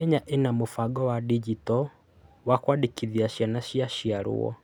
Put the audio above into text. Kenya ina mũbango wa ndigito wa kũandĩkithia ciana cia ciarwo.